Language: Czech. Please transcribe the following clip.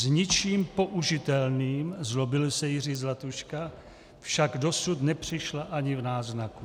S ničím použitelným," zlobil se Jiří Zlatuška, "však dosud nepřišla ani v náznaku."